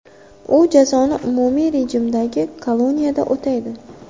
U jazoni umumiy rejimdagi koloniyada o‘taydi.